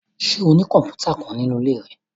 Ṣe o ni kọmputa kan ninu ile rẹ?